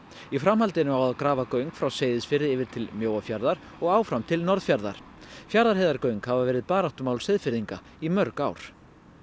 í framhaldinu á að grafa göng frá Seyðisfirði yfir til Mjóafjarðar og áfram til Norðfjarðar Fjarðarheiðargöng hafa verið baráttumál Seyðfirðinga í mörg ár